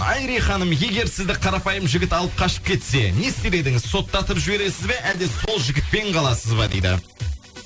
айри ханым егер сізді қарапайым жігіт алып қашып кетсе не істер едіңіз соттатып жібересіз бе әлде сол жігітпен қаласыз ба дейді